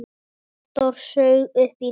Halldór saug upp í nefið.